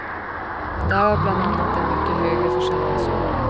Därav bland annat den mycket högre försäljningssumman.